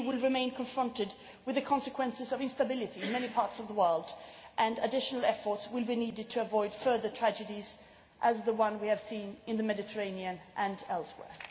The EU will remain confronted with the consequences of instability in many parts of the world, and additional efforts will be needed to avoid further tragedies, such as the ones we have seen in the Mediterranean and elsewhere.